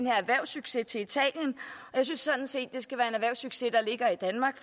her erhvervssucces til italien jeg synes sådan set det skal være en erhvervssucces der ligger i danmark